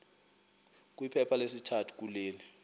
kwiphepha lesithathu kule